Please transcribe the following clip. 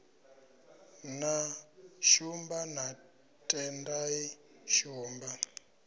na shumba na tendai shumba